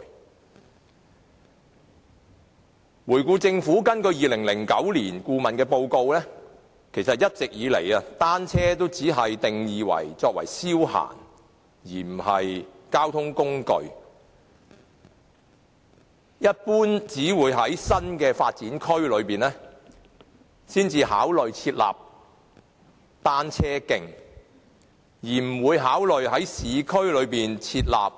回顧以往，政府一直根據2009年顧問報告，只把單車定義為消閒工具而非交通工具，一般只會考慮在新發展區設立單車徑，而不會考慮按照